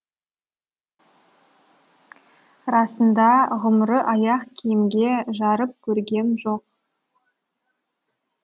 расында ғұмыры аяқ киімге жарып көргем жоқ